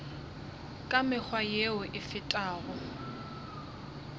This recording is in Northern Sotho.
ka mekgwa yeo e fetago